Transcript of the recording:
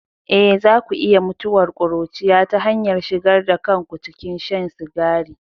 Eh, za ku iya mutuwar ƙuruciya ta hanyar shigar da kanku cikin shan sigari.